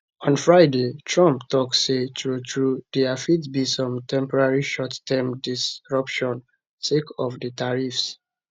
on friday trump tok say truetrue dia fit be some temporary short term disruption sake of di tariffs